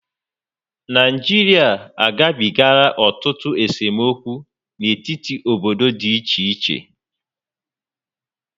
Nigeria agabigala otutu esomokwu n'etiti obodo dị iche iche